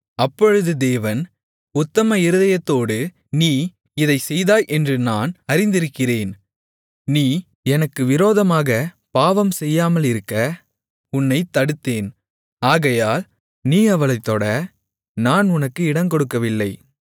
அப்பொழுது தேவன் உத்தம இருதயத்தோடு நீ இதைச் செய்தாய் என்று நான் அறிந்திருக்கிறேன் நீ எனக்கு விரோதமாகப் பாவம் செய்யாமலிருக்க உன்னைத் தடுத்தேன் ஆகையால் நீ அவளைத் தொட நான் உனக்கு இடங்கொடுக்கவில்லை